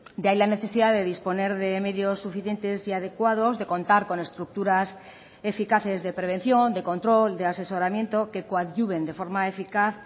de ahí la necesidad de disponer de medios suficientes y adecuados de contar con estructuras eficaces de prevención de control de asesoramiento que coadyuven de forma eficaz